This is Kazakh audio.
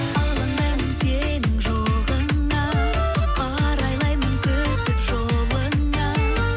алаңдаймын сенің жоғыңа қарайлаймын күтіп жолыңа